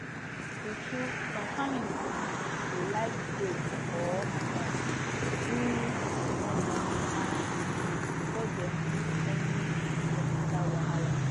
true true some families um go like pray or um do small traditional things before dem do any hospital wahala